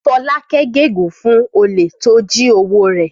Fọlákẹ́ gégùn-ún fún olè tó jí owó rẹ̀.